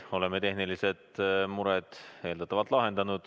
Oleme tehnilised mured eeldatavalt lahendanud.